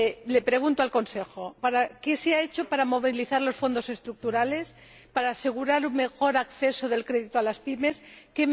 Le pregunto al Consejo ¿qué se ha hecho para movilizar los Fondos Estructurales, para asegurar un mejor acceso de las PYME al crédito?